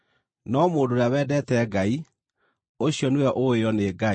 No mũndũ ũrĩa wendete Ngai, ũcio nĩwe ũũĩo nĩ Ngai.